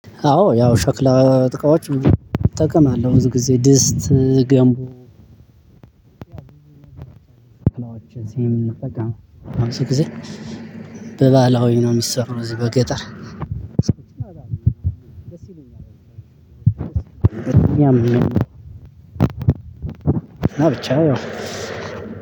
አዎ ያው ሸክላ እቃዎች እጠቀማለሁ። ብዙ ጊዜ ድስት፣ ገንቡ በባህላዊ ነው የሚሰሩ እዚህ በገጠር እና ብቻ ያው